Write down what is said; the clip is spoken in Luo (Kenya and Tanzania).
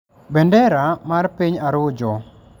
bendera mar piny Arujo.